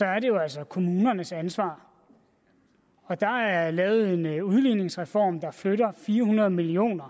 er det jo altså kommunernes ansvar og der er lavet en udligningsreform der flytter fire hundrede million